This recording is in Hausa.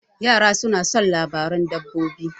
Yara soma son labaran dabbobi.